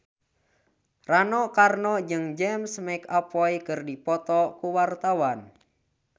Rano Karno jeung James McAvoy keur dipoto ku wartawan